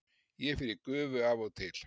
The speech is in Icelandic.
Ég fer í gufu af og til.